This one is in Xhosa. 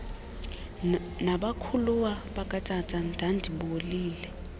nabakhuluwa bakatata ndandibolile